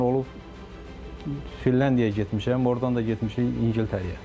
Məsələn, olub, Finlandiyaya getmişəm, ordan da getmişik İngiltərəyə.